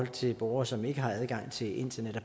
til borgere som ikke har adgang til internet og